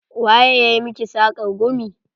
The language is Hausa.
Waye ya miki sakar gumi?